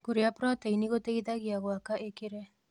Kũrĩa prĩteĩnĩ gũteĩthagĩa gwaka ĩkere